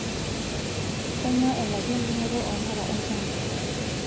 Kainyoo elaki endung'oto oo mpala olchamba